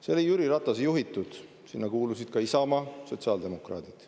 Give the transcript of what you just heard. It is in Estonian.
See oli Jüri Ratase juhitud, sinna kuulusid ka Isamaa ja sotsiaaldemokraadid.